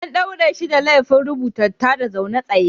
An daure shi da laifin rubuta tada zaune tsaye.